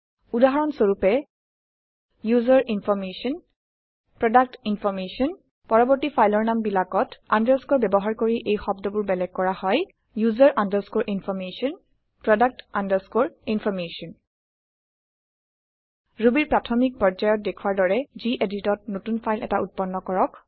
উদাহৰণ স্বৰূপে user information product information পৰবৰ্তী ফাইলৰ নাম বিলাকত আন্দাৰস্কোৰ ব্যৱহাৰ কৰি এই শব্দবোৰ বেলেগ কৰা হয় ওচেৰ আণ্ডাৰস্কৰে ইনফৰমেশ্যন প্ৰডাক্ট আণ্ডাৰস্কৰে ইনফৰমেশ্যন Rubyৰ প্ৰাথমিক পৰ্যায়ত দেখুৱাৰ দৰে geditত নতুন ফাইল এটা উত্পন্ন কৰক